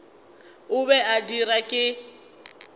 o be a dirwa ke